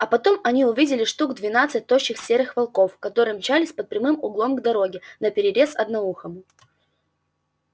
а потом они увидели штук двенадцать тощих серых волков которые мчались под прямым углом к дороге наперерез одноухому